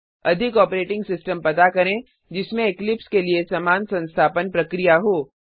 अधिक operating system पता करें जिसमें इक्लिप्स के लिए समान संस्थापन प्रक्रिया हो